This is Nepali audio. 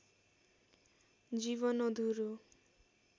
जीवन अधुरो